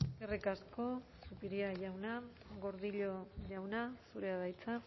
eskerrik asko zupiria jauna gordillo jauna zurea da hitza